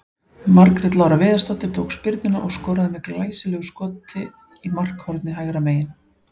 Margrét Lára Viðarsdóttir tók spyrnuna og skoraði með glæsilegu skot í markhornið hægra megin.